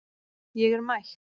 Ég er mætt